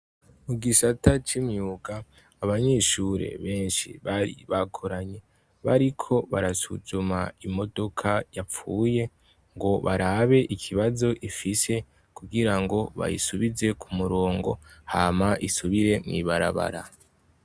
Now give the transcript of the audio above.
Mu gisata c'imyuga, abanyeshure benshi bari bakoranye, bariko barasuzuma imodoka yapfuye ngo barabe ikibazo ifise kugira ngo bayisubize ku murongo hama isubire mw'ibarabara.